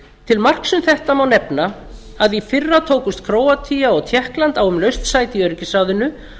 til marks um þetta má nefna að í fyrra tókust króatía og tékkland á um laust sæti í öryggisráðinu